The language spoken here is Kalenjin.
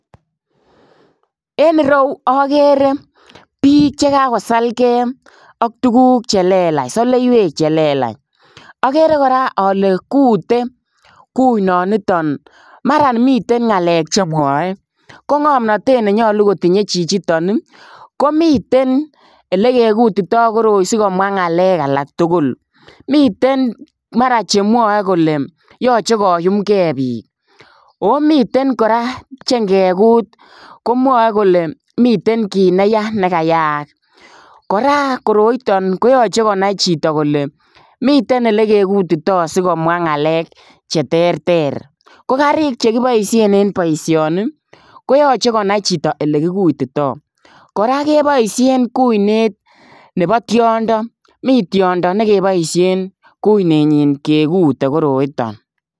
En ireuu agere biik che kagosalgei ak tuguuk che lelaach saleiweek che lelaach agere kora ale kutee kunaan nitoon mara miten ngalek che mwae ko ngamnatet ne yachei kotinyei chichitoon ii ko miten ele ke kutitai koroitaan sikomwaah ngalek alaak tugul en mara che mwae kole machei sikoyumgei biik ako miten kora che ingekuut komwae kole miten kiit ne yaa nekayaayaak koroitoo ko yachei konai chitoo kole miten ele ke kutitai sigomwah ngalek che terter ko kariik che kibaisheen en boisioni ko koyachei konai chitoo ole kigutitai kora kebaisheen kuineet nebo tiondo Mii tiondo nekibaisheen guineey nyiin kegute koroitaan.